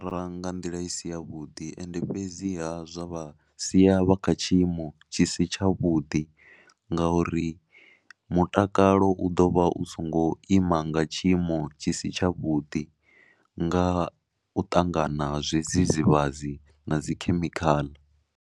Ra nga nḓila i si yavhuḓi ende fhedziha zwa siya vha kha tshiimo tshi si tshavhuḓi ngauri mutakalo u ḓo vha u songo ima nga tshiimo tshi si tshavhuḓi nga u ṱangana ha zwidzidzivhadzi na dzi khemikhaḽa.